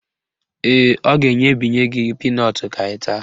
Ee, ọ ga-enyebinye gị pinọtụ ka ị taa